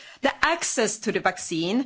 the access to the vaccine